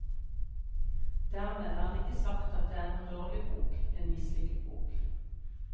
Dermed er det ikke sagt at det er en dårlig bok, en mislykket bok.